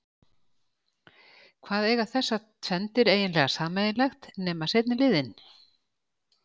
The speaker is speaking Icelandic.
Hvað eiga þessar tvenndir eiginlega sameiginlegt nema seinni liðinn?